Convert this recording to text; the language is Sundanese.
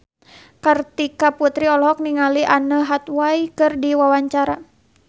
Kartika Putri olohok ningali Anne Hathaway keur diwawancara